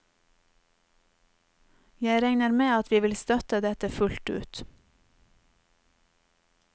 Jeg regner med at vi vil støtte dette fullt ut.